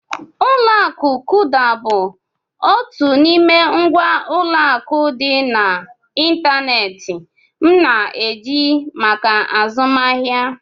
Ụlọ akụ Kuda bụ otu n'ime ngwa ụlọ akụ dị n'ịntanetị m na-eji maka azụmahịa.